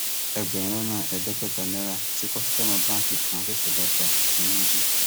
ẹgbẹrún lọnà ẹẹdẹgbẹta náírà tí kọsítọmọ báǹkì kan ṣẹṣẹ lọọ gbà ni wọn jí